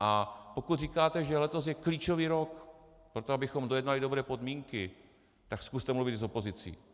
A pokud říkáte, že letos je klíčový rok pro to, abychom dojednali dobré podmínky, tak zkuste mluvit s opozicí.